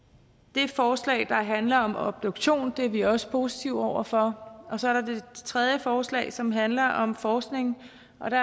det forslag der handler om obduktion er vi også positive over for og så er der det tredje forslag som handler om forskning og det